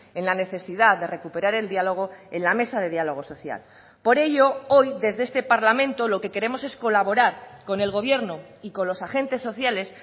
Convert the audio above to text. en la necesidad de recuperar el diálogo en la mesa de diálogo social por ello hoy desde este parlamento lo que queremos es colaborar con el gobierno y con los agentes sociales